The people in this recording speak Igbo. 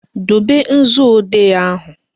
Dobe nzuodee ahụ!